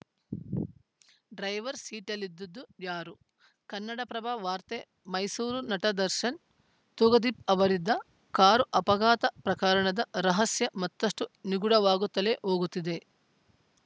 driver ಸೀಟಲ್ಲಿದ್ದದ್ದು ಯಾರು ಕನ್ನಡಪ್ರಭ ವಾರ್ತೆ ಮೈಸೂರು ನಟ ದರ್ಶನ್‌ ತೂಗುದೀಪ ಅವರಿದ್ದ ಕಾರು ಅಪಘಾತ ಪ್ರಕರಣದ ರಹಸ್ಯ ಮತ್ತಷ್ಟುನಿಗೂಢವಾಗುತ್ತಲೇ ಹೋಗುತ್ತಿದೆ